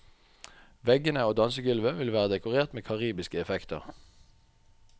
Veggene og dansegulvet vil være dekorert med karibiske effekter.